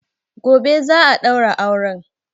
Gobe za a ɗaura auren